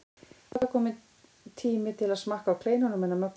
Það var kominn tími til að smakka á kleinunum hennar Möggu.